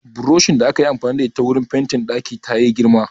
Buroshin da akayi amfani da ita wurin fentin ɗaki tayi girma